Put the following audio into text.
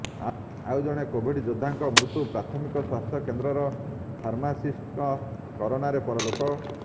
ଆଉ ଜଣେ କୋଭିଡ଼ ଯୋଦ୍ଧାଙ୍କ ମୃତ୍ୟୁ ପ୍ରାଥମିକ ସ୍ୱାସ୍ଥ୍ୟ କେନ୍ଦ୍ରର ଫାର୍ମାସିଷ୍ଟଙ୍କ କରୋନାରେ ପରଲୋକ